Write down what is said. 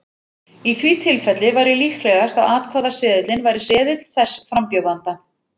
Í því tilfelli væri líklegast að atkvæðaseðilinn væri seðill þess frambjóðanda.